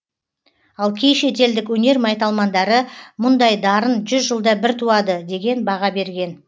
ал кей шетелдік өнер майталмандары мұндай дарын жүз жылда бір туады деген баға берген